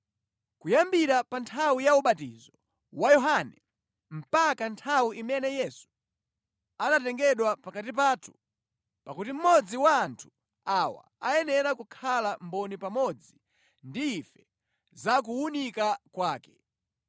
kuyambira pa nthawi ya ubatizo wa Yohane mpaka nthawi imene Yesu anatengedwa pakati pathu. Pakuti mmodzi wa anthu awa ayenera kukhala mboni pamodzi ndi ife zakuuka kwake.”